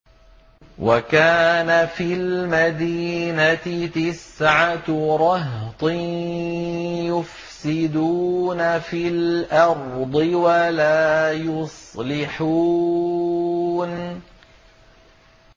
وَكَانَ فِي الْمَدِينَةِ تِسْعَةُ رَهْطٍ يُفْسِدُونَ فِي الْأَرْضِ وَلَا يُصْلِحُونَ